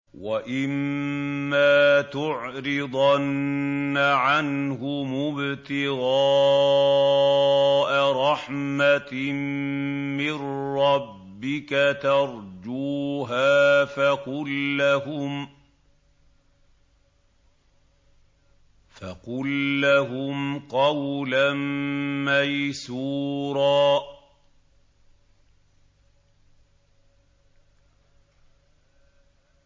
وَإِمَّا تُعْرِضَنَّ عَنْهُمُ ابْتِغَاءَ رَحْمَةٍ مِّن رَّبِّكَ تَرْجُوهَا فَقُل لَّهُمْ قَوْلًا مَّيْسُورًا